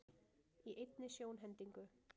Í einni sjónhendingu